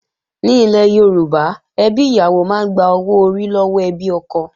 Ní ilẹ̀ Yorùbá, ẹbí ìyàwó máa ń gba owó orí lọ́wọ́ ẹbí ọkọ